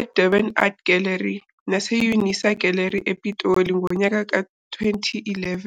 eDurban Art Gallery, nase-UNISA Gallery, ePitoli, ngonyaka ka-2011..